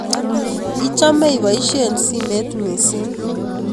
Ichome ipoishe simet mising